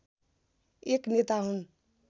एक नेता हुन्